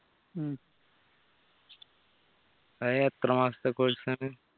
അത് എത്ര മാസത്തെ course ആണ്